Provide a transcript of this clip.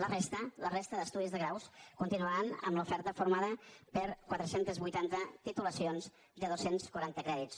la resta la resta d’estudis de graus continuaran amb l’oferta formada per quatre cents i vuitanta titulacions de dos cents i quaranta crèdits